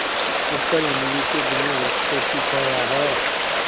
ऊपर इमली के घने वृक्षों की छाया है